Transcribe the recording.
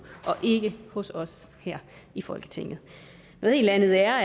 og ikke hos os her i folketinget noget helt andet er